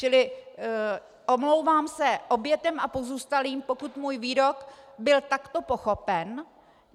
Čili omlouvám se obětem a pozůstalým, pokud můj výrok byl takto pochopen.